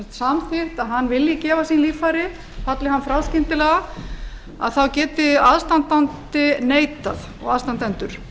samþykkt að hann vilji gefa sín líffæri falli hann frá skyndilega þá geti aðstandandi neitað og aðstandendur